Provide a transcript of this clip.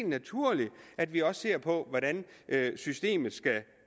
naturligt at vi også ser på hvordan systemet